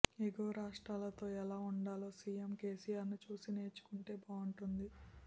ఎగువ రాష్ట్రాలతో ఎలా ఉండాలో సిఎం కెసిఆర్ను చూసి నేర్చు కుంటే బాగుంటుంది